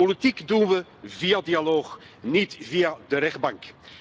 Politiek doen we via dialoog, niet via de rechtbank.